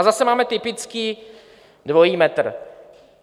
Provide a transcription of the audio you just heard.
A zase máme typický dvojí metr.